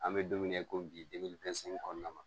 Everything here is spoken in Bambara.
An bɛ don min na i ko bi denmisɛnnin kɔnɔna na